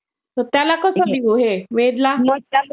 त्याला कसं देऊ हे वेदला?